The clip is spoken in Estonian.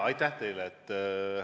Aitäh teile!